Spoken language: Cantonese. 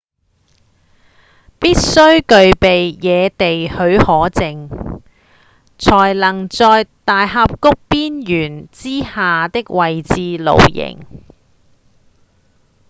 必須具備野地許可證才能在大峽谷邊緣之下的位置露營